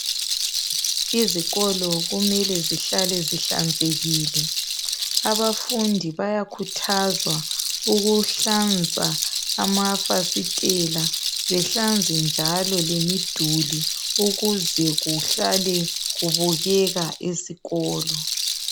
Izikolo kumele zihlale zihlanzekile, abafundi bayakhuthazwa ukuhlanza amafasitela behlanze njalo lemiduli ukuze kuhlale kubukeka esikolo.